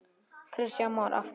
Kristján Már: Af hverju?